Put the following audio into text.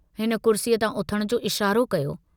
हिन कुर्सीअ तां उथण जो इशारो कयो।